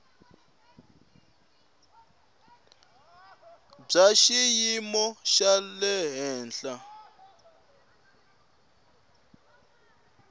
bya xiyimo xa le henhlanyana